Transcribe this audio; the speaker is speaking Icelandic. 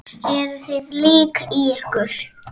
Eruð þið lík í ykkur?